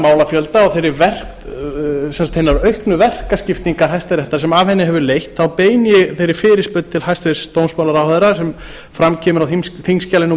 málafjölda og hinnar auknu verkaskiptingar hæstaréttar sem af henni hefur leitt beini ég þeirri fyrirspurn til hæstvirts dómsmálaráðherra sem fram kemur á sé númer